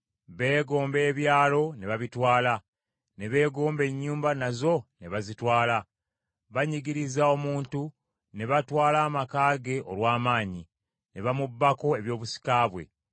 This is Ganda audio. Beegomba ebyalo ne babitwala, ne beegomba ennyumba nazo ne bazitwala. Banyigiriza omuntu ne batwala amaka ge olw’amaanyi, ne bamubbako ebyobusika bwe.